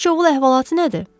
Bu Sıçovul əhvalatı nədir?